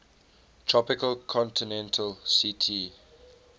tropical continental ct